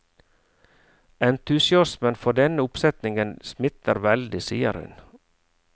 Entusiasmen for denne oppsetningen smitter veldig, sier hun.